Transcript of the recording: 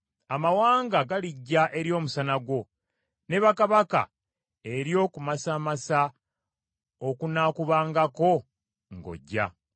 Amawanga galijja eri omusana gwo ne bakabaka eri okumasamasa okunaakubangako ng’ojja.